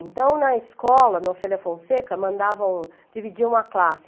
Então, na escola, no Ofélia Fonseca, mandavam, dividiam a classe.